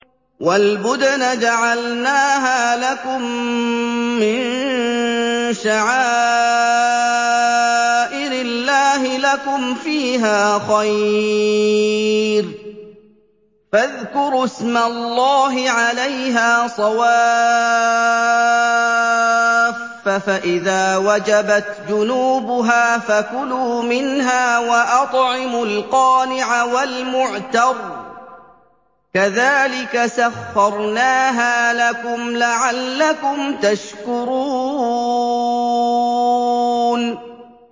وَالْبُدْنَ جَعَلْنَاهَا لَكُم مِّن شَعَائِرِ اللَّهِ لَكُمْ فِيهَا خَيْرٌ ۖ فَاذْكُرُوا اسْمَ اللَّهِ عَلَيْهَا صَوَافَّ ۖ فَإِذَا وَجَبَتْ جُنُوبُهَا فَكُلُوا مِنْهَا وَأَطْعِمُوا الْقَانِعَ وَالْمُعْتَرَّ ۚ كَذَٰلِكَ سَخَّرْنَاهَا لَكُمْ لَعَلَّكُمْ تَشْكُرُونَ